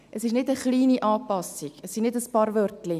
Es ist nicht eine kleine Anpassung, es sind nicht ein paar Wörtchen.